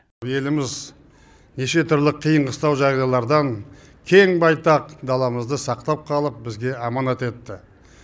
еліміз неше түрлі қиын қыстау жағдайлардан кең байтақ даламызды сақтап қалып бізге аманат етті